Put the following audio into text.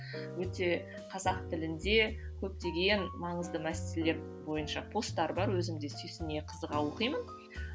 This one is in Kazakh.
өте қазақ тілінде көптеген маңызды мәселелер бойынша постар бар өзімде сүйсіне қызыға оқимын